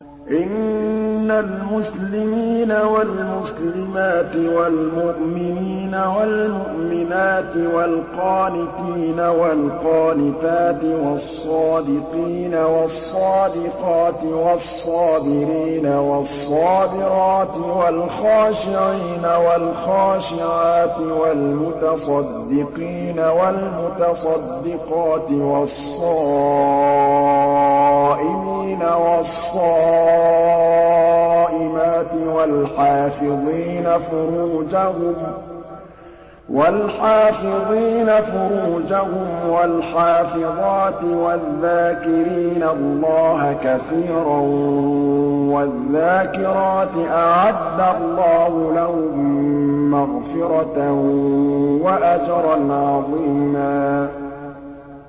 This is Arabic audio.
إِنَّ الْمُسْلِمِينَ وَالْمُسْلِمَاتِ وَالْمُؤْمِنِينَ وَالْمُؤْمِنَاتِ وَالْقَانِتِينَ وَالْقَانِتَاتِ وَالصَّادِقِينَ وَالصَّادِقَاتِ وَالصَّابِرِينَ وَالصَّابِرَاتِ وَالْخَاشِعِينَ وَالْخَاشِعَاتِ وَالْمُتَصَدِّقِينَ وَالْمُتَصَدِّقَاتِ وَالصَّائِمِينَ وَالصَّائِمَاتِ وَالْحَافِظِينَ فُرُوجَهُمْ وَالْحَافِظَاتِ وَالذَّاكِرِينَ اللَّهَ كَثِيرًا وَالذَّاكِرَاتِ أَعَدَّ اللَّهُ لَهُم مَّغْفِرَةً وَأَجْرًا عَظِيمًا